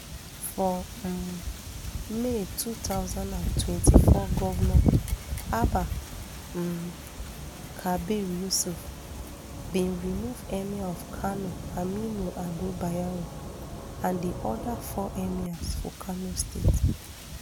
for um may two thousand and twenty-four govnor abba um kabir yusuf bin remove emir of kano aminu ado bayero and di oda four emirs for kano state